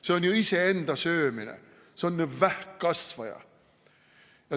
See on ju iseenda söömine, see on vähkkasvaja.